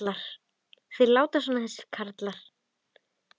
Þeir láta svona þessir karlar.